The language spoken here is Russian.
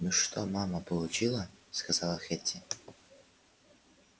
ну что мама получила сказала хэтти